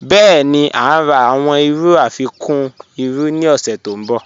Bẹẹ̀ni, à ǹ rà awọn irú afikún irú ni ọ̀ṣẹ̀ tó nbọ̀.